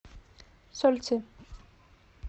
сольцы